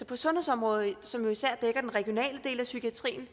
på sundhedsområdet som jo især dækker den regionale del af psykiatrien